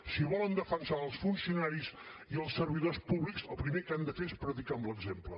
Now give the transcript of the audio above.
si volen defensar els funcionaris i els servidors públics el primer que han de fer és predicar amb l’exemple